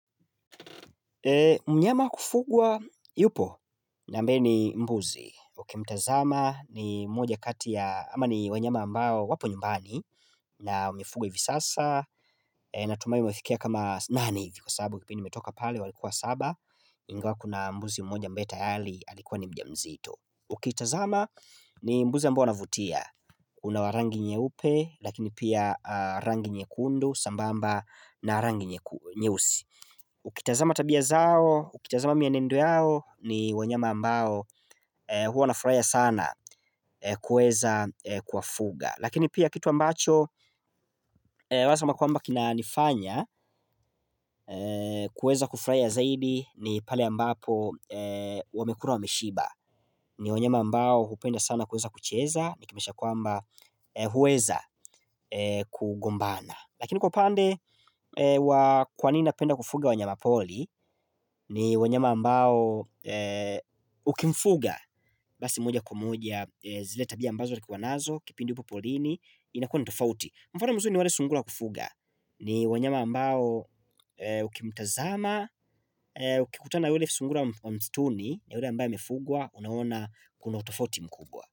Mnyama kufugwa yupo na mbe ni mbuzi Ukimtazama ni mmoja kati ya ama ni wanyama ambao wapo nyumbani na umifugwa visasa na tumai umefikia kama nani hivi Kwa sabu kipini metoka pale walikua saba Ingawa kuna mbuzi mmoja ambetayali alikuwa ni mjamzito Ukitazama ni mbuzi ambao anavutia Unawarangi nye upe lakini pia rangi nye kundu sambamba na rangi nyeku nyeusi Ukitazama tabia zao, ukitazama mienendo yao ni wanyama ambao huo nafraia sana kuweza kuwafuga Lakini pia kitu ambacho waezama kwamba kina nifanya kuweza kufraia zaidi ni pale ambapo wamekura waemishiba ni wanyama ambao upenda sana kuweza kucheza ni kimesha kwamba huweza kugombana Lakini kwa upande, wa kwanina penda kufuga wanyama poli ni wanyama ambao ukimfuga Basi moja kwa moja, zile tabia ambazo zikuwa nazo, kipindi upo porini, inakua nitofauti Mfano mzuri ni wale sungula kufuga, ni wanyama ambao ukimtazama, uki kutana wale sungula mstuni Yole ambayo mefugwa, unaona kuna utofauti mkubwa.